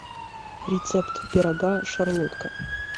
рецепт пирога шарлотка